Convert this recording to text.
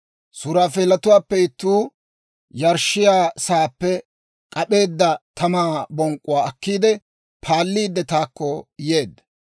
Suraafeelatuwaappe ittuu yarshshiyaa sa'aappe k'ap'eedda tamaa bonk'k'uwaa akkiide paalliidde, taakko yeedda.